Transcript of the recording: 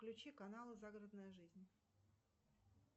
включи канал загородная жизнь